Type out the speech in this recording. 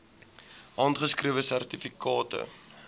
handgeskrewe sertifikate